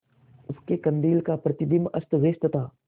उसके कंदील का प्रतिबिंब अस्तव्यस्त था